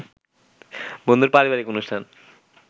বন্ধুর পারিবারিক অনুষ্ঠান